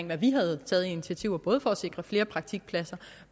hvad vi havde taget af initiativer både for at sikre flere praktikpladser